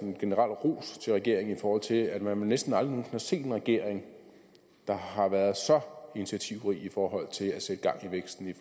en generel ros til regeringen i forhold til at man vel næsten aldrig nogen har set en regering der har været så initiativrig i forhold til at sætte gang i væksten i